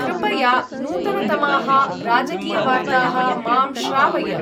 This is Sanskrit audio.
कृपया नू्तनतमाः राजकीयवार्ताः मां श्रावय।